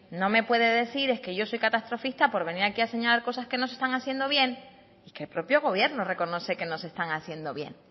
no me puede decir es que yo soy catastrofista por venir aquí a señalar cosas que no se están haciendo bien y que el propio gobierno reconoce que no se están haciendo bien